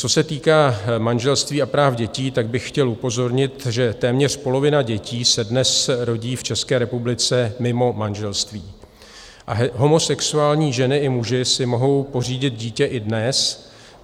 Co se týká manželství a práv dětí, tak bych chtěl upozornit, že téměř polovina dětí se dnes rodí v České republice mimo manželství a homosexuální ženy i muži si mohou pořídit dítě i dnes.